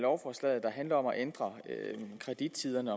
lovforslaget der handler om at ændre kredittiderne